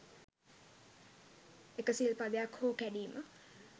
එක සිල් පදයක් හෝ කැඩීම